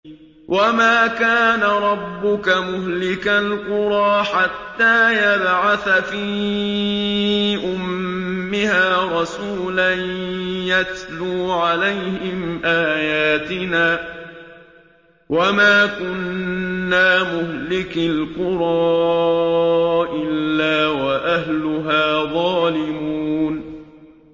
وَمَا كَانَ رَبُّكَ مُهْلِكَ الْقُرَىٰ حَتَّىٰ يَبْعَثَ فِي أُمِّهَا رَسُولًا يَتْلُو عَلَيْهِمْ آيَاتِنَا ۚ وَمَا كُنَّا مُهْلِكِي الْقُرَىٰ إِلَّا وَأَهْلُهَا ظَالِمُونَ